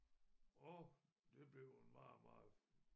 Og det blev en meget meget